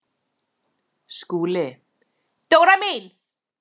SKÚLI: Dóra mín!